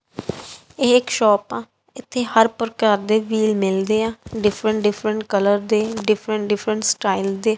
ਇਹ ਇਕ ਸ਼ੋਪ ਆ ਇਥੇ ਹਰ ਪ੍ਰਕਾਰ ਦੇ ਵੀਲ ਮਿਲਦੇ ਆ ਡਿਫਰੈਂਟ ਡਿਫਰੈਂਟ ਕਲਰ ਦੇ ਡਿਫਰੈਂਟ ਡਿਫਰੈਂਟ ਸਟਾਈਲ ਦੇ।